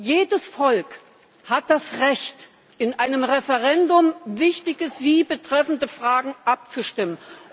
Jedes Volk hat das Recht, in einem Referendum über wichtige, es betreffende Fragen abzustimmen.